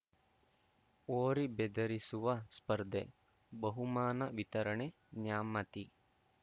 ಹೋರಿ ಬೆದರಿಸುವ ಸ್ಪರ್ಧೆ ಬಹುಮಾನ ವಿತರಣೆ ನ್ಯಾಮತಿ